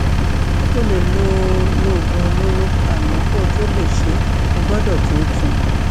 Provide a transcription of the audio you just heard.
o lè lo lo oògùn olóró àmọ kó o tó lè ṣe é o gbọdọ tóótun